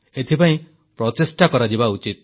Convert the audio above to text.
ଏଥିପାଇଁ ପ୍ରଚେଷ୍ଟା କରାଯିବା ଉଚିତ